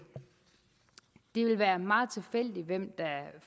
det vil være meget tilfældigt hvem der